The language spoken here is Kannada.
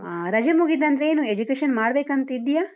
ಹಾ, ರಜೆ ಮುಗಿದ್ನಂತ್ರ ಏನು education ಮಾಡಬೇಕಂತ ಇದ್ದೀಯಾ?